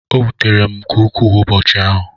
o wutere m nke ukwu ụbọchị ahụ